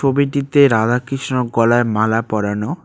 ছবিটিতে রাধাকৃষ্ণর গলায় মালা পড়ানো।